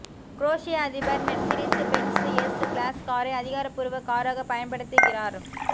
குரோஷிய அதிபர் Mercedes Benz S class காரை அதிகாரப்பூர்வ காராக பயன்படுத்துகிறார்ய